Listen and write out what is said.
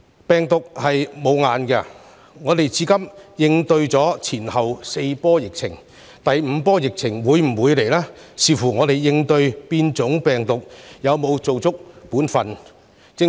病毒無眼，香港至今已應對4波疫情，至於第五波疫情會否來臨，這視乎我們應對變種病毒有否做足本分。